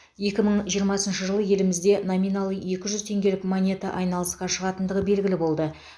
екі мың жиырмасыншы жылы елімізде номиналы екі жүз теңгелік монета айналысқа шығатындығы белгілі болды